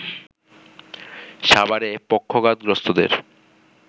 সাভারের পক্ষাঘাতগ্রস্থদের